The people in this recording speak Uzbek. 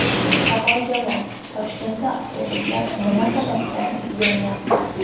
Savoljavob: Toshkentda avtobuslar nima sababdan yonyapti?.